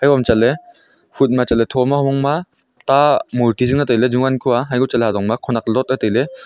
bou chatley phut ma chatley thoma hovang ma ta murti zing la tailey jovan kuh a yaiko chatley hajong ma khonak lot a tailey.